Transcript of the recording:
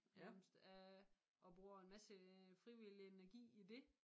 Nærmest øh og bruger en masse frivillig energi i det